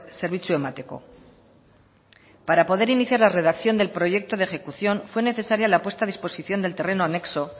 zerbitzua emateko para poder iniciar la redacción del proyecto de ejecución fue necesaria la puesta en disposición del terreno anexo